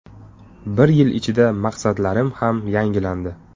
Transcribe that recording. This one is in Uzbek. Bir yil ichida maqsadlarim ham yangilandi.